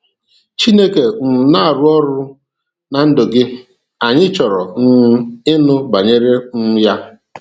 Chineke um na-arụ ọrụ ná ndụ gị, anyị chọrọ um ịnụ banyere um ya.